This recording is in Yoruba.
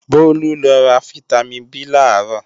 Bólú lọ ra fítámìn B làárọ̀